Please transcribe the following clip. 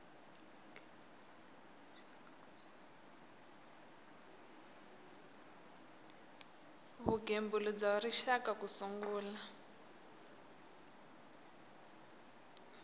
vugembuli bya rixaka ku sungula